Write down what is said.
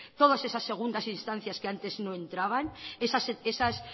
todas esas segundas instancias que antes no entraban esas